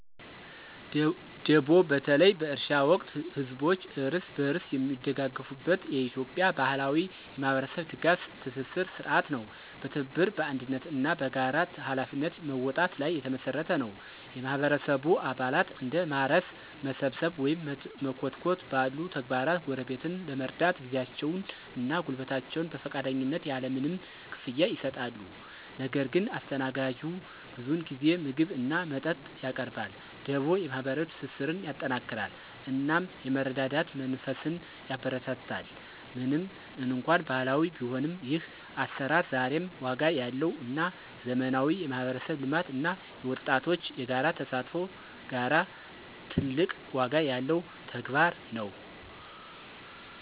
ደቦ በተለይ በእርሻ ወቅት ህዝቦች እርስ በርስ የሚደጋገፉበት የኢትዮጵያ ባህላዊ የማህበረሰብ ድጋፍ ትስስር ሥርዓት ነው። በትብብር፣ በአንድነት እና በጋራ ኃላፊነት መወጣት ላይ የተመሰረተ ነው። የማህበረሰቡ አባላት እንደ ማረስ፣ መሰብሰብ ወይም መኮትኮት ባሉ ተግባራት ጎረቤትን ለመርዳት ጊዜያቸውን እና ጉልበታቸውን በፈቃደኝነት ያለ ምንም ክፍያ ይሰጣሉ። ነገር ግን አስተናጋጁ ብዙውን ጊዜ ምግብ እና መጠጥ ያቀርባል። ደቦ የማህበራዊ ትስስርን ያጠናክራል እናም የመረዳዳት መንፈስን ያበረታታል። ምንም እንኳን ባህላዊ ቢሆንም፣ ይህ አሰራር ዛሬም ዋጋ ያለው እና ከዘመናዊ የማህበረሰብ ልማት እና የወጣቶች የጋራ ተሳትፎ ጋራ ትልቅ ዋጋ ያለው ተግባር ነው።